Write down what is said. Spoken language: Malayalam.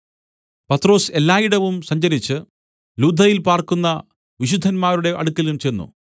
പത്രൊസ് എല്ലായിടവും സഞ്ചരിച്ച് ലുദ്ദയിൽ പാർക്കുന്ന വിശുദ്ധന്മാരുടെ അടുക്കലും ചെന്ന്